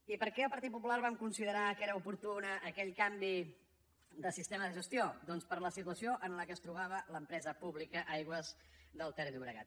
i per què el partit popular vam considerar que era oportú aquell canvi de sistema de gestió doncs per la situació en què es trobava l’empresa pública aigües ter llobregat